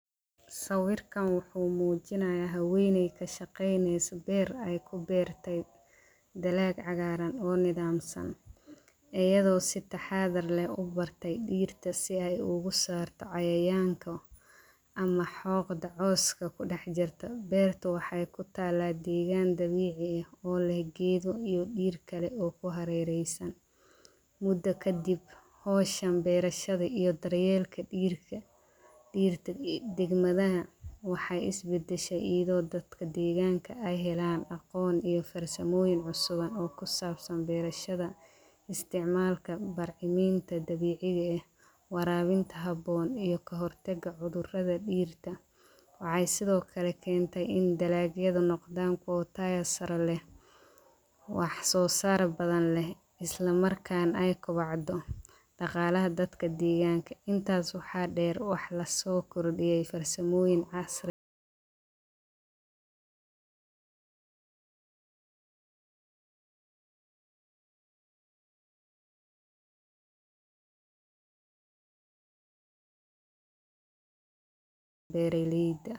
Sawirkan wuxuu muujinayaha haweyney ka shaqeyneysa beer ay ku beertay daleec cagaaran oo nidaam san, iyadoo sitta xaadar leh u bartay dhiirta si ay ugu saarto cayaanka ama xooqda cooska ku dhex jirto. Beerta waxay ku talaadi doontaa Dabiic ee ol ah geedo iyo dhirkale oo ku harereysan muddo kadib. Hoosham, beerashada iyo daryeelka dhigika. Dhiirta degmadaha waxay is biddashay iido dadka diigaanka ay helaan aqoon iyo farsamooyin cusuban oo ku saabsan beerashada, isticmaalka barciminta dabiiciga ah, waraabinta habboon iyo kahortega cudurrada dhiirta. Waxay sidoo kale keentay in dalaaliyadda noqdaan kootaa sare leh.